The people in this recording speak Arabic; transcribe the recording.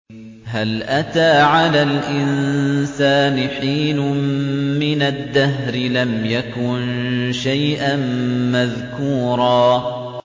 هَلْ أَتَىٰ عَلَى الْإِنسَانِ حِينٌ مِّنَ الدَّهْرِ لَمْ يَكُن شَيْئًا مَّذْكُورًا